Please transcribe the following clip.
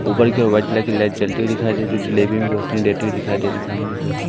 ऊपर की ओर व्हाइट कलर की लाइट जलती हुई दिखाई दे जो जलेबी में रोशनी देती हुई दिखाई दे रही सामने की ओर।